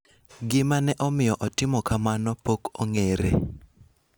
Gima ne omiyo otimo kamano pok ong�ere.